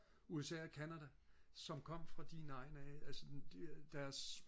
usa og canada som kom fra din egn af altså de deres